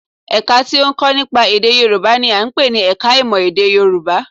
Ẹ̀ka tí ó ń kọ́ nípa èdè Yorùbá n i à ń pè ní ẹka ìmọ̀ èdè Yorùbá